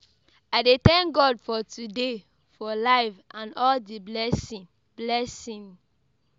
I dey tank God for today, for life and all di blessing. blessing.